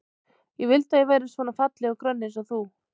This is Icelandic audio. Ég vildi að ég væri svona falleg og grönn eins og þú.